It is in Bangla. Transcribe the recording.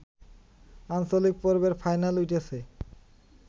আঞ্চলিক পর্বের ফাইনালে উঠেছে